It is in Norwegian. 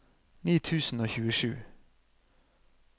ni tusen og tjuesju